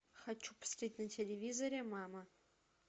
хочу посмотреть на телевизоре мама